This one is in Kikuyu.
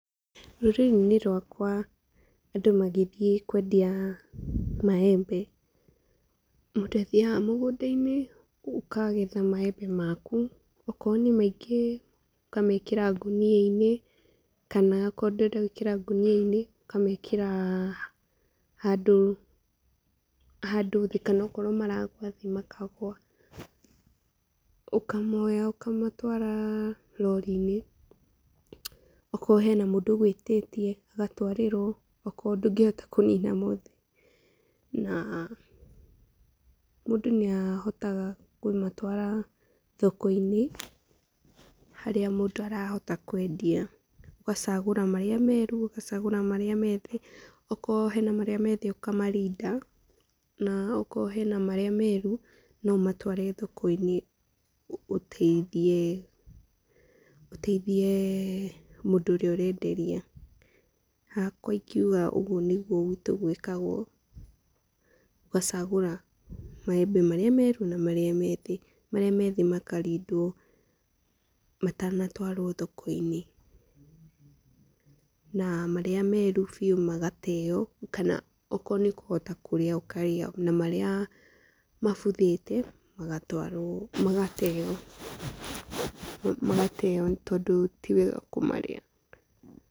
Rũrĩrĩ-inĩ rwakwa, andũ magĩthiĩ kwendia maembe, mũndũ athiaga mũgũnda - inĩ ũkagetha maembe maku, okorwo nĩ maingĩ ũkamekĩra ngũnia -inĩ, kana akorwo ndũrenda gwĩkĩra ngũnia-inĩ ũkamekĩra handũ, handũ thĩ, kana akorwo maragwa thĩ makagwa, ũkamoya ũkamatwara rorinĩ, okorwo hena mũndũ ũgwĩtĩtie agatwarĩrwo, okorwo ndũngĩhota kũnina mothe, na, mũndũ nĩ ahotaga kũmatwara thoko-inĩ, harĩa mũndũ arahota kwendia, ũgacagũra marĩa meru, ũgacagũra marĩa methĩ , okorwo he na marĩa methĩ ũkamarinda, na okorwo he na marĩa meru, no ũmatware thoko -inĩ, ũtethie, ũtethiee mũndũ ũrĩa ũrenderia, hakwa ingiuga ũgwo nĩ guo gwitũ gwĩkagwo ũgacagũra maembe marĩa meru na marĩa methĩ, marĩ methĩ makarindwo, matana twarwo thoko-inĩ, na marĩa meru biũ magateyo, kana okorwo nĩũkuhota kũrĩa ũkarĩa, na marĩa mabuthĩte magatwarwo, magateyo tondũ tiwega kũmarĩa.